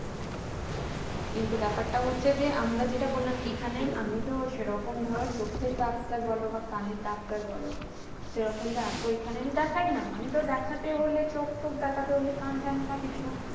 কিন্তু ব্যাপারটা হচ্ছে যে আমরা যেটা বলাম এখানে আমি তো সেরকম ধরা চোখের ডাক্তার বলো বা কানের ডাক্তার বলো সেরকম তো এত এখানে আমি দেখায় না আমি তো দেখতে হলে চোখ ত্বক দেখতে হলে কান টান বা কিছু